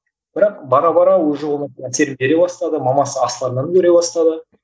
бірақ бара бара уже оның әсерін бере бастады мамасы астарларын көре бастады